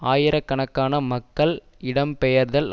ஆயிரக்கணக்கான மக்கள் இடம் பெயர்தல்